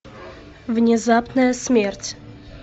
внезапная смерть